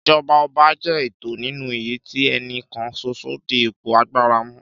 Ìjọba ọba jẹ́ ètò nínú èyí tí ẹni kan ṣoṣo dí ipò agbára mú.